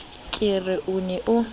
ke re o ne o